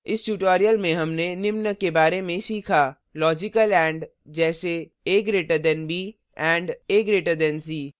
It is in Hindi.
इस tutorial में हमने निम्न के बारे में सीखा logical and